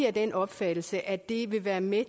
af den opfattelse at det vil være med